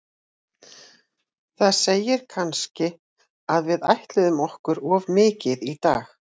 Það segir kannski að við ætluðum okkur of mikið í dag.